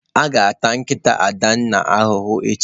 A ga-ata nkịta Adanna ahụhụ echi.